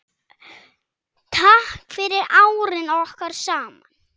Takk fyrir árin okkar saman.